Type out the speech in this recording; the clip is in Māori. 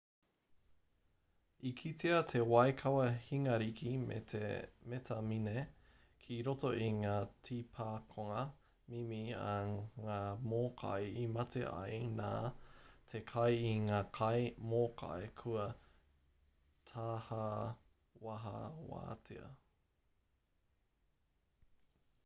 i kitea te waikawa hingariki me te metamine ki roto i ngā tīpakonga mimi a ngā mōkai i mate ai nā te kai i ngā kai mōkai kua tāhawahawatia